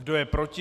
Kdo je proti?